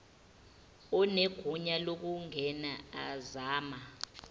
onegunya lokungena ezama